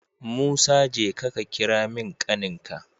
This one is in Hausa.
Musa jeka ka kira min ƙanin ka